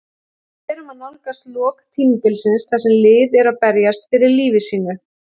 Við erum að nálgast lok tímabilsins þar sem lið eru að berjast fyrir lífi sínu.